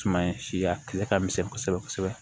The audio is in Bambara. Suma in siya kile ka misɛn kosɛbɛ kosɛbɛ